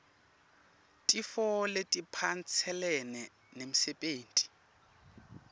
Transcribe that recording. tifo letiphatselene nemsebenti